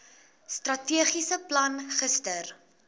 strategiese plan gister